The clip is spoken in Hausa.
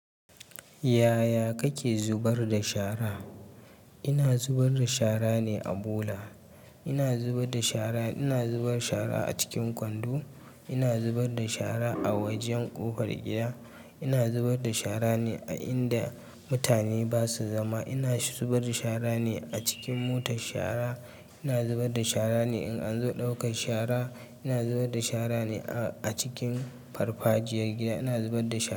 Yaya kake zubar da shara? Ina zubar da shara ne a bula. Ina zubar da shara, ina zuba shara a cikin kwando. Ina zubar da shara a wajen ƙofar gida. Ina zubar da shara ne a inda mutane ba su zama. Ina zubar da shara ne a cikin motar shara. Ina zubar da shara ne in an zo ɗaukar shara. Ina zubar da shara ne a cikin farfajiya gida. Ina zubar da sha.